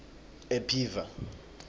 ephiva